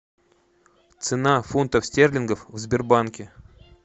цена фунтов стерлингов в сбербанке